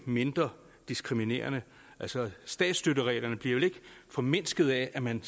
mindre diskriminerende altså statsstøtten bliver vel ikke formindsket af at man